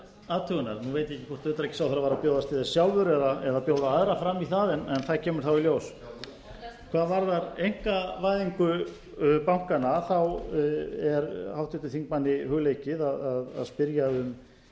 athugunar nú veit ég ekki hvort utanríkisráðherra var að bjóðast til þess sjálfur eða bjóða aðra fram í það en það kemur þá í ljós hvað varðar einkavæðingu bankanna er háttvirtum þingmanni hugleikið að spyrja um